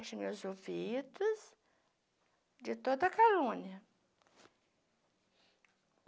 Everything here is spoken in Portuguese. Feche meus ouvidos de toda calúnia.